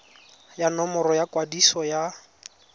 ya nomoro ya kwadiso ya